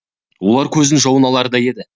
олар көздің жауын алардай еді